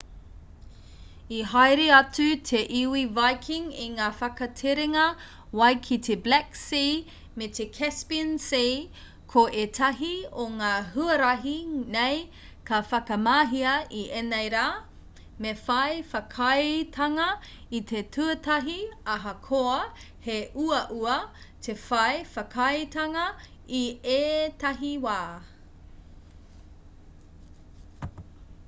i haere atu te iwi viking i ngā whakaterenga wai ki te black sea me te caspian sea ko ētahi o ngā huarahi nei ka whakamahia i ēnei rā me whai whakaaetanga i te tuatahi ahakoa he uaua te whai whakaaetanga i ētahi wā